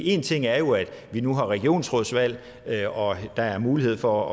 en ting er jo at vi nu har regionsrådsvalg og at der er mulighed for